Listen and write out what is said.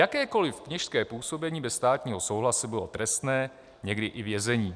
Jakékoliv kněžské působení bez státního souhlasu bylo trestné, někdy i vězením.